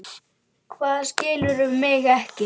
Hvað, skilurðu mig ekki?